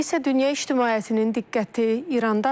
İndi isə dünya ictimaiyyətinin diqqəti İrandadır.